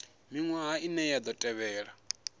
miṅwaha ine ya ḓo tevhela